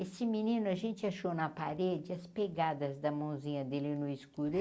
Esse menino, a gente achou na parede as pegadas da mãozinha dele no escuro.